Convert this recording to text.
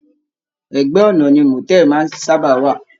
Ẹgbẹ ọna ni motel maá ń saba wà.